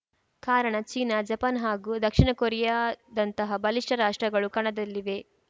ಕಾರಣ China Japan ಹಾಗೂ ದಕ್ಷಿಣಕೊರಿಯಾದಂತಹ ಬಲಿಷ್ಠ ರಾಷ್ಟ್ರಗಳು ಕಣದಲ್ಲಿವೆ